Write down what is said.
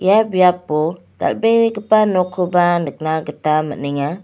ia biapo dal·begipa nokkoba nikna gita man·enga.